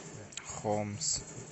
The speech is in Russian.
хомс